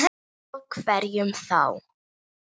Og hverjum þá?